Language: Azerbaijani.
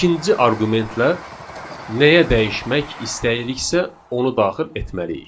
ikinci arqumentlə nəyə dəyişmək istəyiriksə, onu daxil etməliyik.